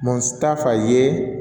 Mu ta fa ye